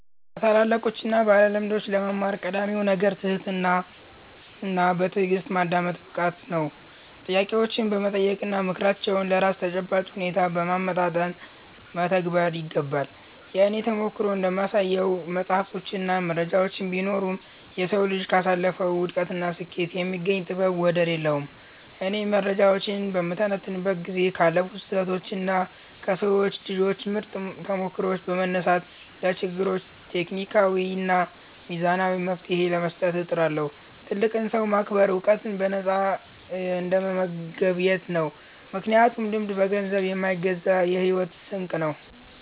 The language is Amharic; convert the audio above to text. ከታላላቆችና ባለልምዶች ለመማር ቀዳሚው ነገር ትህትናና በትዕግሥት የማዳመጥ ብቃት ነው። ጥያቄዎችን በመጠየቅና ምክራቸውን ለራስ ተጨባጭ ሁኔታ በማመጣጠን መተግበር ይገባል። የእኔ ተሞክሮ እንደሚያሳየው፣ መጻሕፍትና መረጃዎች ቢኖሩም፣ የሰው ልጅ ካሳለፈው ውድቀትና ስኬት የሚገኝ ጥበብ ወደር የለውም። እኔም መረጃዎችን በምተነትንበት ጊዜ ካለፉ ስህተቶችና ከሰው ልጆች ምርጥ ተሞክሮዎች በመነሳት፣ ለችግሮች ሎጂካዊና ሚዛናዊ መፍትሔ ለመስጠት እጥራለሁ። ትልቅን ሰው ማክበር ዕውቀትን በነፃ እንደመገብየት ነው፤ ምክንያቱም ልምድ በገንዘብ የማይገዛ የሕይወት ስንቅ ነው።